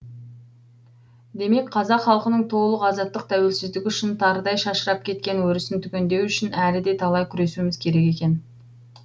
демек қазақ халқының толық азаттық тауелсіздік үшін тарыдай шашырап кеткен өрісін түгендеу үшін әлі де талай күресуіміз керек екен